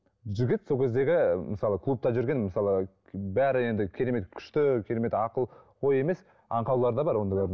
жігіт сол кездегі мысалы клубта жүрген мысалы бәрі енді керемет күшті керемет ақыл ой емес аңқаулары да бар ондайлардың